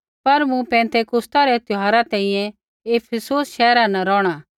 पर मूँ पिन्तेकुस्ता रै त्यौहारा तैंईंयैं इफिसुस शैहरा न रौहणा